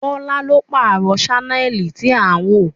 Bọ́lá ló pààrọ̀ sánẹ́ẹ̀lì tí à ń wò